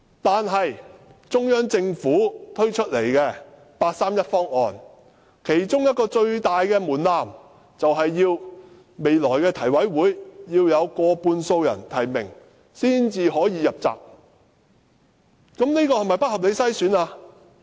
不過，中央政府推出的八三一方案，其中一個最大的門檻，便是未來的提名委員會要得到過半數人提名才能"入閘"，這是否不合理的篩選？